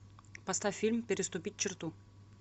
поставь фильм переступить черту